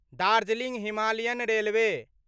Darjeeling Himalayan railway